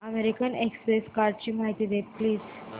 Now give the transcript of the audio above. American Express कार्डची माहिती दे प्लीज